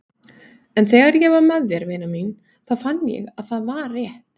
En þegar ég var með þér vina mín þá fann ég að það var rétt.